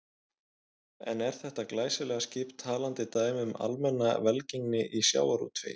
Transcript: En er þetta glæsilega skip talandi dæmi um almenna velgengni í sjávarútvegi?